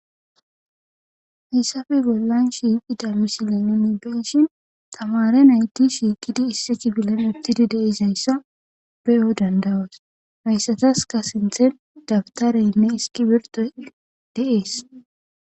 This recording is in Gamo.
hayssafe bollan shiiqida misilenoni beshin tamare nayti shiikidi isse chi bilan uttidi deisayssa beyo dandawas hayssataska sinthen dabtareynne iski birtoy deees